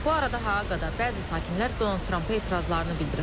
Bu arada Haqada bəzi sakinlər Donald Trampa etirazlarını bildiriblər.